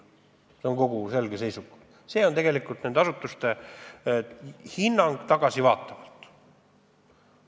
See on nende selge seisukoht, nende asutuste tagasivaatav hinnang.